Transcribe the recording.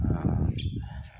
Sangɛnin yo